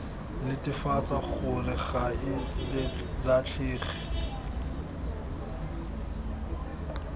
netefatsa gore ga e latlhege